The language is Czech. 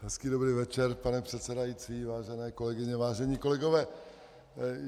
Hezký dobrý večer, pane předsedající, vážené kolegyně, vážení kolegové.